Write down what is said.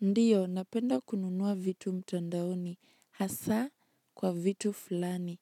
Ndio, napenda kununua vitu mtandaoni, hasa kwa vitu fulani.